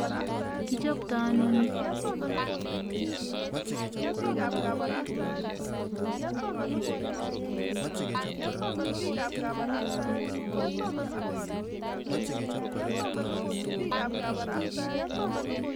Kichoptoi ano ni